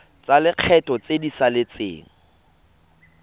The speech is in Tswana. tsa lekgetho tse di saletseng